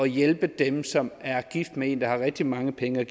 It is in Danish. hjælpe dem som er gift med en der har rigtig mange penge og